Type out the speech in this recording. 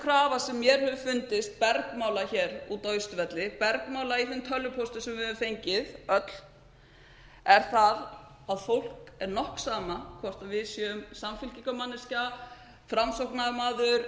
krafa sem mér hefur fundist bergmála hér úti á austurvelli bergmála í þeim tölvupóstum sem við höfum fengið öll er það að fólki er nokk sama hvort við séum samfylkingarmanneskjur framsóknarmaður